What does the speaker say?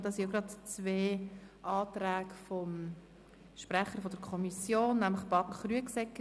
Darunter befinden sich zwei Anträge des Kommissionssprechers.